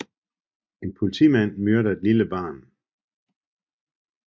En politimand myrder et lille barn